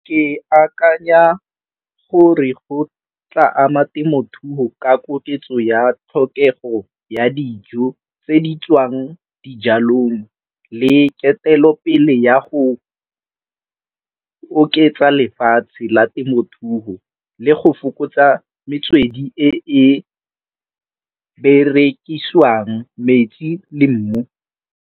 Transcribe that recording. Ke akanya gore go tla ama temothuo ka koketso ya tlhokego ya dijo tse di tswang dijalong le ketelopele ya go oketsa lefatshe la temothuo le go fokotsa metswedi e e berekisiwang metsi le mmu.